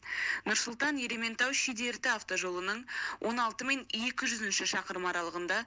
нұр сұлтан ерейментау шидерті автожолының он алты мен екі жүзінші шақырымы аралығында